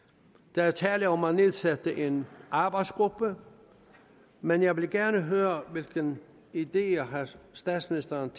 der er tale om at nedsætte en arbejdsgruppe men jeg vil gerne høre hvilke ideer statsministeren